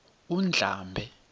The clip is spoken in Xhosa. undlambe